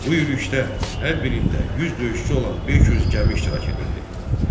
Bu yürüşdə hər birində 100 döyüşçü olan 500 gəmi iştirak edirdi.